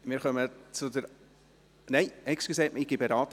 Die Antragstellerin hat nochmals das Wort.